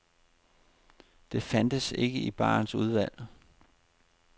Det fandtes ikke i barens udvalg.